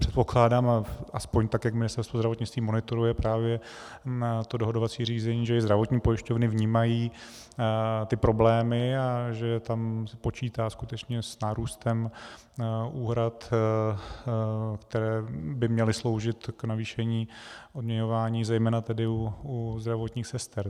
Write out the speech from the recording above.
Předpokládám, aspoň tak jak Ministerstvo zdravotnictví monitoruje právě to dohodovací řízení, že i zdravotní pojišťovny vnímají ty problémy a že se tam počítá skutečně s nárůstem úhrad, které by měly sloužit k navýšení odměňování, zejména tedy u zdravotních sester.